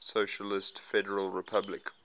socialist federal republic